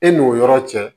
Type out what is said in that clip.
E n'o yɔrɔ cɛ